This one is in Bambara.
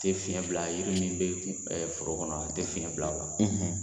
A tɛ fiɲɛ bila yiri min bɛ kun foro kɔnɔ a tɛ fiɲɛ bila o la.